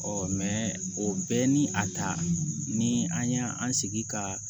o bɛɛ ni a ta ni an y'an sigi ka